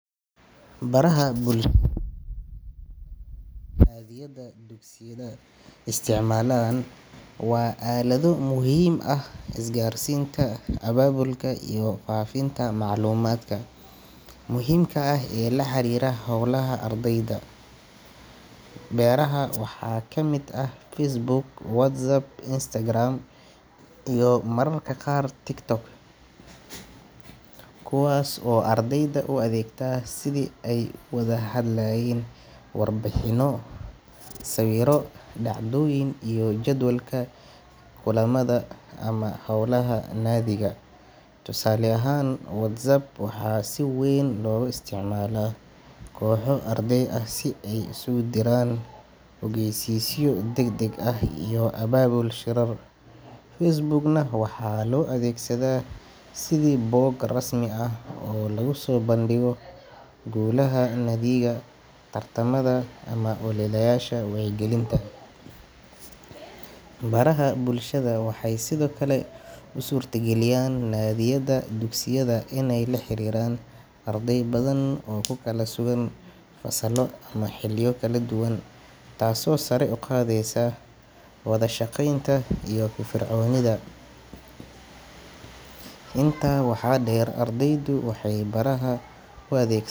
Baraha bulshada ee inta badan naadiyada dugsiyada isticmaalaan waa aalado muhiim u ah isgaarsiinta, abaabulka iyo faafinta macluumaadka muhiimka ah ee la xiriira howlaha ardayda. Barahaas waxaa ka mid ah Facebook, WhatsApp, Instagram, iyo mararka qaar TikTok, kuwaas oo ardayda u adeegta sidii ay u wadaagi lahaayeen warbixino, sawirro, dhacdooyin iyo jadwalka kulamada ama hawlaha naadiga. Tusaale ahaan, WhatsApp waxaa si weyn loogu isticmaalaa kooxo arday ah si ay isugu diraan ogeysiisyo degdeg ah iyo abaabul shirar. Facebook-na waxaa loo adeegsadaa sidii bog rasmi ah oo lagu soo bandhigo guulaha naadiga, tartamada ama ololeyaasha wacyigelinta. Baraha bulshada waxay sidoo kale u suurtageliyaan naadiyada dugsiyada inay la xiriiraan arday badan oo ku kala sugan fasallo ama xilliyo kala duwan, taasoo sare u qaadaysa wada shaqeynta iyo firfircoonida. Intaa waxaa dheer, ardaydu waxay barahaas u adeeg.